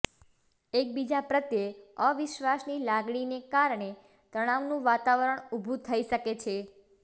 એકબીજા પ્રત્યે અવિશ્વાસની લાગણીને કારણે તણાવનું વાતાવરણ ઊભું થઈ શકે છે